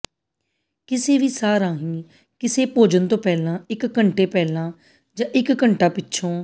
ਕਿਸੇ ਵੀ ਸਾਹ ਰਾਹੀਂ ਕਿਸੇ ਭੋਜਨ ਤੋਂ ਪਹਿਲਾਂ ਇਕ ਘੰਟੇ ਪਹਿਲਾਂ ਜਾਂ ਇਕ ਘੰਟਾ ਪਿੱਛੋਂ